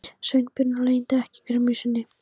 Sveinbjörn og leyndi ekki gremju sinni.